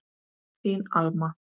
Þín Alma.